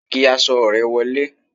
kí aṣọ re wolé